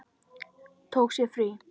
Tók sér frí.